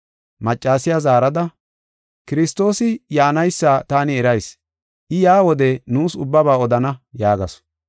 Maccasiya zaarada, “Kiristoosi yaanaysa taani erayis. I yaa wode nuus ubbaba odana” yaagasu.